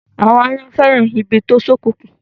Àwọn àyàn fẹ́ràn ibi tó ṣókùnkùn.